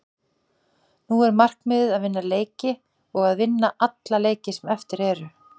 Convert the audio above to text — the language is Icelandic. Nú er markmiðið að vinna leiki og að vinna alla leiki sem eru eftir.